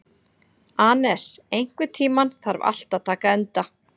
Anes, einhvern tímann þarf allt að taka enda.